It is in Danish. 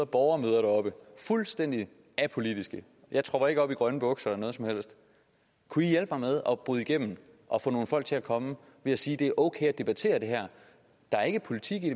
borgermøder deroppe fuldstændig apolitiske jeg tropper ikke op i grønne bukser eller noget som helst at bryde igennem og få nogle folk til at komme ved at sige at det er okay at debattere det her der er ikke politik i